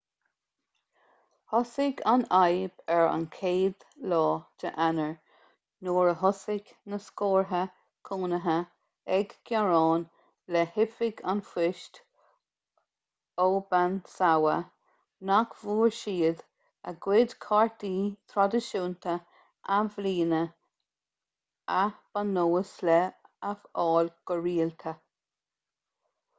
thosaigh an fhadhb ar an 1 eanáir nuair a thosaigh na scórtha cónaithe ag gearán le hoifig an phoist obanazawa nach bhfuair siad a gcuid cártaí traidisiúnta athbhliana a ba nós leo a fháil go rialta